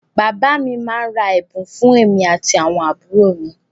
Bàbá mi máá ń ra ẹ̀bùn fún èmi àti àwọn àbúrò mi